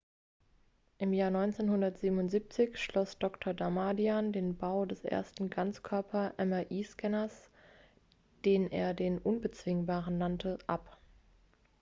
"im jahr 1977 schloss dr. damadian den bau des ersten "ganzkörper""-mri-scanners den er den "unbezwingbaren" nannte ab.